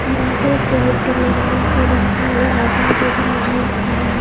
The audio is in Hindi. बहुत सारे स्लाइड करने वाले हैं बहुत सारे लोग आदमी दो-तीन आदमी लोग खड़े है ।